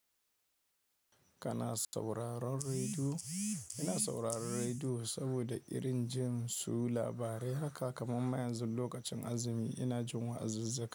Kana sauraron rediyo? Ina sauraron rediyo saboda irin jin su labarai. Haka kaman ma yanzu lokacin azumi ina jin wa'azizzikaa.